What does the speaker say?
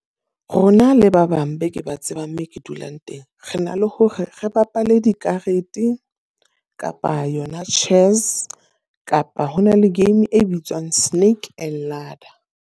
Rona le ba bang be ke ba tsebang moo ke dulang teng. Re na le hore re bapale dikarete, kapa yona chess, kapa ho na le game e bitswang snake ladder.